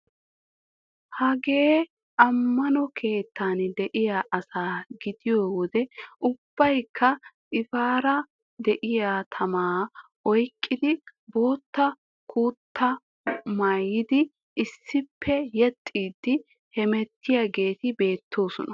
Hagee ammano keettan de'iya asaa gidiyo wode ubbaykka xiifaara de'iya tamaa oyqqidi bootta kutaa maayidi issippe yexxiiddi hemettiyageeti beettoosona .